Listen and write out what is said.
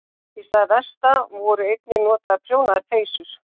Í stað vesta voru einnig notaðar prjónaðar peysur.